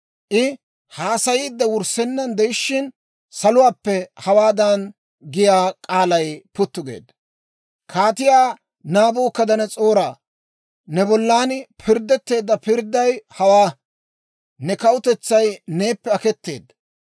I haasayiide wurssennan de'ishshin, saluwaappe hawaadan giyaa k'aalay puttu geedda; Kaatiyaa Naabukadanas'ooraa, ne bollan pirddetteedda pirdday hawaa: ne kawutetsay neeppe aketeedda.